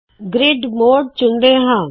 grid mode ਚੁਣਦੇ ਹਾ